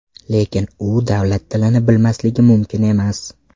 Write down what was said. Lekin u davlat tilini bilmasligi mumkin emas.